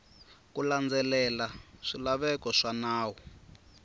ku landzelela swilaveko swa nawu